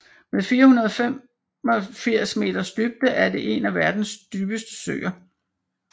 Med 485 meters dybde er det en af verdens dybeste søer